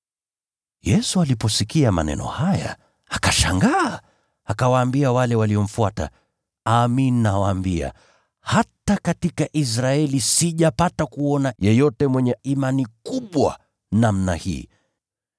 Yesu aliposikia maneno haya, alishangaa, akawaambia wale waliomfuata, “Amin, nawaambia, hata katika Israeli sijapata kuona yeyote mwenye imani kubwa namna hii.